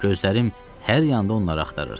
Gözlərim hər yanda onları axtarırdı.